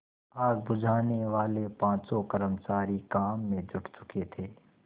आग बुझानेवाले पाँचों कर्मचारी काम में जुट चुके थे